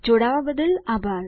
જોડાવા બદ્દલ આભાર